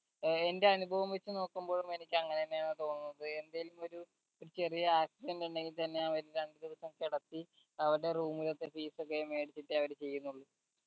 ഏർ എന്റെ അനുഭവം വെച്ച് നോക്കുമ്പോ എനിക്ക് അങ്ങനെ തന്നെ ആണ് തോന്നുന്നത് എന്തേലും ഒരു ഒരു ചെറിയ accident ഉണ്ടെങ്കി തന്നെ അവര് രണ്ട് ദിവസം കെടത്തി അവരിടെ room ലത്തെ fees ഒക്കെ മേടിച്ചിട്ടേ അവര് ചെയ്യുന്നുള്ളു